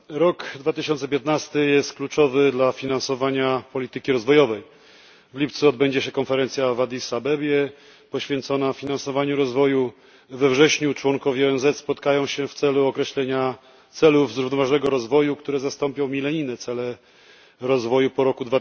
Rok 2015 jest kluczowy dla finansowania polityki rozwojowej w lipcu odbędzie się konferencja w Addis Abebie poświęcona finansowaniu rozwoju, we wrześniu członkowie ONZ spotkają się w celu określenia celów zrównoważonego rozwoju, które zastąpią milenijne cele rozwoju po roku